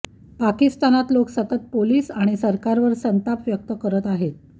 पाकिस्तानात लोक सतत पोलीस आणि सरकारवर संताप व्यक्त करत आहेत